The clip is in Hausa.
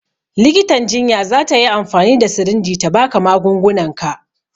Likitan jinya za ta yi amfani da sirinji ta ba ka magungunanka